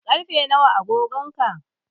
Karfe nawa a agogon ka?